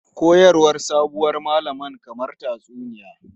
Koyarwar sabuwar malaman kamar tatsuniya.